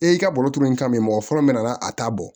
E y'i ka baro turu n kan mɛ mɔgɔ fɔlɔ min nana a t'a bɔ